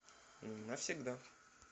навсегда